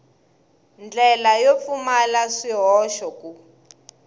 ndlela yo pfumala swihoxo ku